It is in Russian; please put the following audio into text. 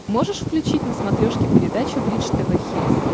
можешь включить на смотрешке передачу бридж тв хитс